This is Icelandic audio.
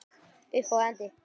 Upphaf og endi.